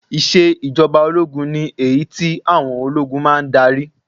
Ìṣe ìjọba ológun ni èyí tí àwọn ológun máa ń darí